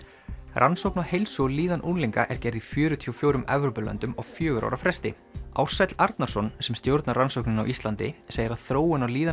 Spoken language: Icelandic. rannsókn á heilsu og líðan unglinga er gerð í fjörutíu og fjórum Evrópulöndum á fjögurra ára fresti Ársæll Arnarsson sem stjórnar rannsókninni á Íslandi segir að þróun á líðan